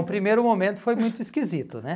O primeiro momento foi muito esquisito, né?